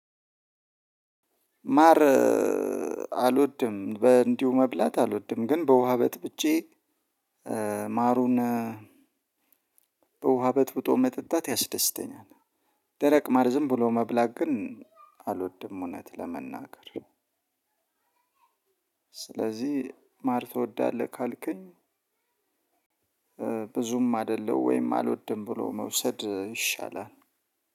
ማር አልወድም በእንዲሁ መብላት አልወድም ግን በውሃ በጥብጬ ማሩን በውሃ በጥብጦ መጠጣት ያስደስተኛል። ደረቅ ማር ዝም ብሎ መብላት ግን አልወድም እውነት ለመናገር። ስለዚህ ማር ትወዳለህ ካልከኝ። ብዙም አይደለሁ ወይም አልወድም ብሎ መውሰድ ይሻላል።